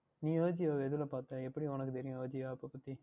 நீங்கள் Ajio வை இதில் பார்த்தீர்கள் எப்படி உங்களுக்கு தெரியும் Ajio App பற்றி